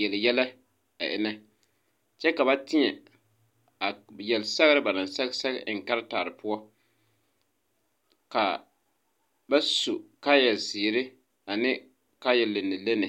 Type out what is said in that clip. yele yɛlɛ kyɛ ka ba tēɛ a yele sɛgre ba naŋ sɛge sɛge eŋ a karetarre poɔ kaa ba su kaayɛ zeere ane kaayɛ lenne lenne.